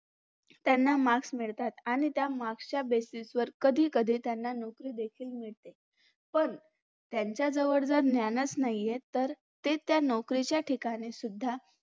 त्यांना marks मिळतात आणि त्या marks च्या basis कधीकधी त्यांना नोकरी देखील मिळते पण त्यांच्याजवळ जर ज्ञानच नाहीय तर ते त्या नोकरीच्या ठिकाणी सुद्धा